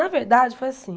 Na verdade, foi assim.